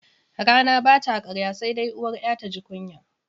Rana bata karya sai dai uwar 'ya taji kunya.